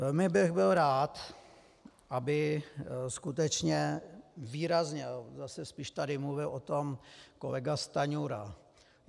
Velmi bych byl rád, aby skutečně výrazně - zase spíš tady mluvil o tom kolega Stanjura.